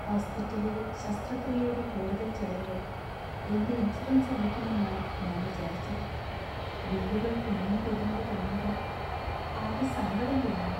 ഹോസ്പിറ്റലിലെ ശസ്ത്രക്രിയയുടെ കൂടുതൽ ചെലവുകൾ എന്‍റെ ഇൻഷുറൻസ് വഹിക്കുമെന്നാണ് ഞാൻ വിചാരിച്ചത് . ബില്ലുകൾ കുമിഞ്ഞുകൂടുന്നത് കാണുമ്പോൾ ആകെ സങ്കടം തോന്നുന്നു.